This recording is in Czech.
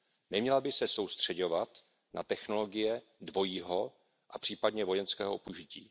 Neměla by se soustřeďovat na technologie dvojího a případně vojenského užití.